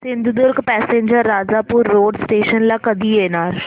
Sindhudurg passenger Rajapur road station ला कधी येणार